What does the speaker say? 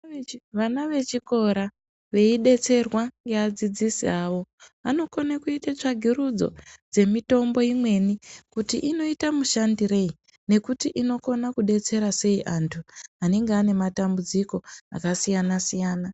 Vana vechikora veidetserwa ngeadzidzisi avo anokone kuita tsvagirudzo dzemitombo imweni kuti inoita mushandirei nekuti inokona kudetsera sei antu anenge ane matambudziko akasiyanasiyana.